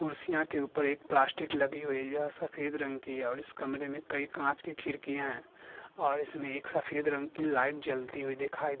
कुर्सियाँ के ऊपर एक प्लास्टिक लगी हुई है और सफेद रंग की है और इस कमरे में कई काँच के खिड़कियाँ हैं और इसमें एक सफेद रंग की लाइट जलती हुई दिखाई --